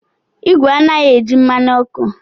Igwe anaghị eji mmanụ ọkụ.